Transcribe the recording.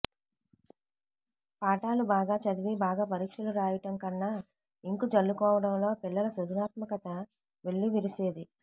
పాఠాలు బాగా చదివి బాగా పరీక్షలు రాయటం కన్నా ఇంకు జల్లుకోవటంలో పిల్లల సృజనాత్మకత వెల్లివిరిసేది